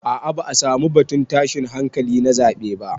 A'a ba'a samu batun tashin hankali na zaɓe ba.